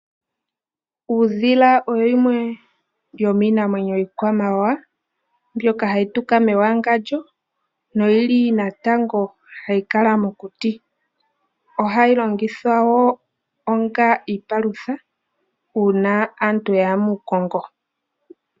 Uudhila owo wumwe womiinamwenyo yiikwamawawa mbyoka hayi tuka mewangandjo noyili natango hayi kala mokuti. Ohayi longithwa woo onga iipalutha uuna aantu ya ya muukongo.